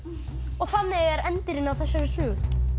þannig er endirinn á þessari sögu